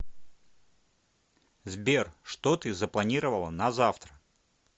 сбер что ты запланировала на завтра